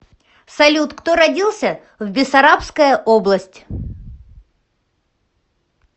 салют кто родился в бессарабская область